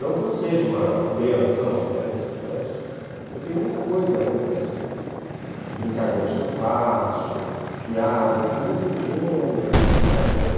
Não que eu seja um crianção, não é isso, mas eu tenho muita coisa ainda, de, as brincadeiras que eu faço, piadas, muito ingênuas, essas brincadeiras.